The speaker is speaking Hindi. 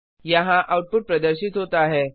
यहाँ आउटपुट प्रदर्शित होता है